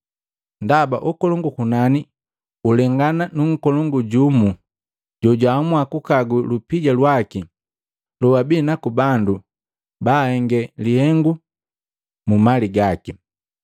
Ndaba ukolongu ukunani ulengana nu nkolongu jumu jojaamua kukagu lupija lwaki loabinaku bandu baahenge lihengu mumali gaki.